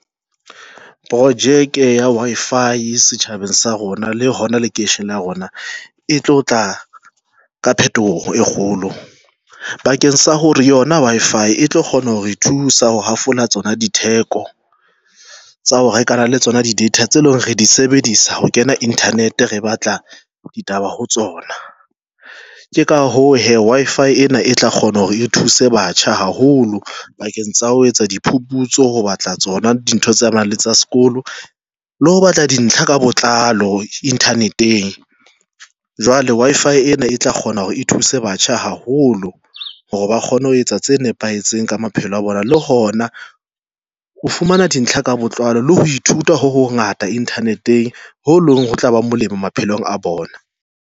Projeke ya Wi-Fi setjhabeng sa rona le hona lekeisheneng la rona e tlo tla ka phetoho e kgolo bakeng sa hore yona Wi-Fi e tlo kgona ho re thusa ho hafola tsona ditheko tsa ho rekana le tsona di data tse leng re di sebedisa ho kena internet, re batla ditaba ho tsona tje. Ka hoo, hee Wi-Fi ena e tla kgona hore e thuse batjha haholo bakeng sa ho etsa diphuputso ho batla tsona dintho tsa nang le tsa sekolo le ho batla dintlha ka botlalo internet-eng, jwale Wi-Fi ena e tla kgona hore e thuse batjha haholo holo hore ba kgone ho etsa tse nepahetseng ka maphelo a bona, le hona ho fumana dintlha ka botlalo le ho ithuta ho ho ngata internet-eng, ho leng ho tla ba molemo maphelong a bona.